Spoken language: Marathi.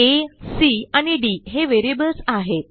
आ सी आणि डी हे व्हेरिएबल्स आहेत